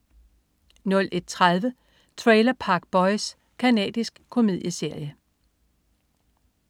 01.30 Trailer Park Boys. Canadisk komedieserie